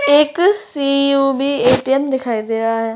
एक C U B ATM. दिखाई दे रहा है।